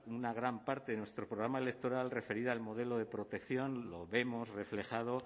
una gran parte de nuestro programa electoral referida al modelo de protección lo vemos reflejado